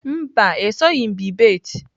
Mba, esoghị m bebate.